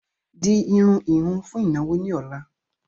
Di irun ìhun fún ìnáwó ni ọ̀la!